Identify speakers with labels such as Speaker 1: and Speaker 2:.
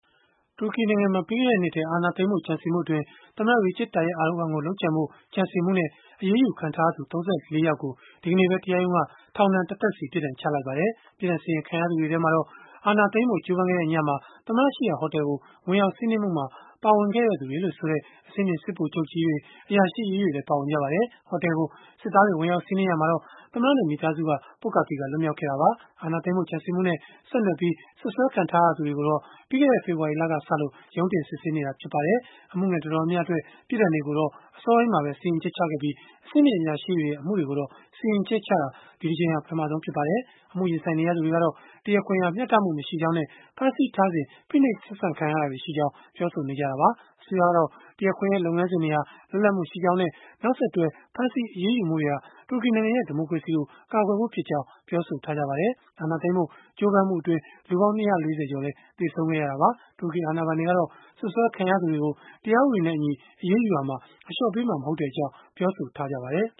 Speaker 1: တူရကီနိုင်ငံမှာ ပြီးခဲ့တဲ့နှစ်ထဲ အာဏာသိမ်းဖို့ ကြံစည်မှုအတွင်း သမ္မတ Recep Tayyip Erdogan ကို လုပ်ကြံဖို့ ကြံစည်မှုနဲ့ အရေးယူခံထားရသူ ၃၄ ယောက်ကို ဒီကနေ့ပဲ တရားရုံးက ထောင်ဒဏ်တသက်စီ ပြစ်ဒဏ်ချမှတ်လိုက်ပါတယ်။ ပြစ်ဒဏ်စီရင် ခံရသူတွေထဲမှာတော့ အာဏာသိမ်းဖို့ ကြိုးပမ်းခဲ့တဲ့ညမှာ သမ္မတရှိရာ ဟိုတယ်ကို ဝင်ရောက်စီးနင်းမှုမှာ ပါဝင်ခဲ့သူတွေလို့ဆိုတဲ့ အဆင့်မြင့် စစ်ဗိုလ်ချုပ်တွေ အရာရှိကြီးတွေလည်း ပါဝင်ကြပါတယ်။ ဟိုတယ်ကို စစ်သားတွေ ဝင်ရောက်စီးနင်းရာမှာတော့ သမ္မတနဲ့ မိသားစုက ပွတ်ကာသီကာ လွတ်မြောက်ခဲ့တာပါ။ အာဏာသိမ်းဖို့ ကြံစည်မှုနဲ့ ဆက်နွယ်ပြီး စွပ်စွဲခံထားရသူတွေကိုတော့ ပြီးခဲ့တဲ့ ဖေဖော်ဝါရီလကစလို့ ရုံးတင်စစ်ဆေးနေတာ ဖြစ်ပါတယ်။ အမှုငယ်တော်တော်များများအတွက် ပြစ်ဒဏ်တွေကိုတော့ အစောပိုင်းမှာပဲ စီရင်ချက်ချခဲ့ပြီး၊ အဆင့်မြင့် အရာရှိတွေရဲ့ အမှုတွေကို စီရင်ချက်ချတာကတော့ ဒီတကြိမ်ဟာ ပထမဆုံးဖြစ်ပါတယ်။ အမှုရင်ဆိုင်နေရသူတွေကတော့ တရားခွင်ဟာ မျှတမှုမရှိကြောင်းနဲ့ ဖမ်းဆီးထားစဉ်မှာ ဖိနှိပ်ဆက်ဆံခံရတာတွေ ရှိကြောင်းလည်း ပြောဆိုနေကြတာပါ။ အစိုးရကတော့ တရားခွင်ရဲ့ လုပ်ငန်းတွေဟာ လွတ်လပ်မှုရှိကြောင်းနဲ့ နောက်ဆက်တွဲ ဖမ်းဆီးအရေးယူမှုတွေဟာ တူရကီနိုင်ငံရဲ့ ဒီမိုကရေစီကို ကာကွယ်ဖို့ဖြစ်ကြောင်း ပြောဆိုထားကြပါတယ်။ အာဏာသိမ်းဖို့ ကြိုးပမ်းမှုအတွင်းလူပေါင်း ၂၄၀ ကျော် သေဆုံးခဲ့ရတာပါ။ တူရကီ အာဏာပိုင်တွေကတော့ စွပ်စွဲခံရသူတွေကို တရားဥပဒေနဲ့အညီ အရေးယူရာမှာ အလျှော့ပေးမှာ မဟုတ်
Speaker 2: တဲ့အကြောင်း ပြောဆိုထားကြပါတယ်